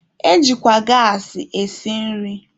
Ejikwa gaasị esi nri.